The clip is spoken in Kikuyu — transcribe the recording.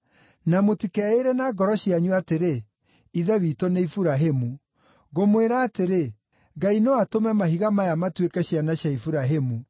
Na mũtikeĩĩre na ngoro cianyu atĩrĩ, ‘Ithe witũ nĩ Iburahĩmu.’ Ngũmwĩra atĩrĩ, Ngai no atũme mahiga maya matuĩke ciana cia Iburahĩmu.